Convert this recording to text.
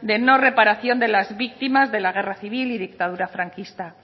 de no reparación de las víctimas de la guerra civil y dictadura franquista